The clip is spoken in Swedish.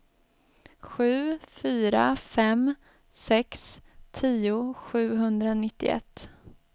sju fyra fem sex tio sjuhundranittioett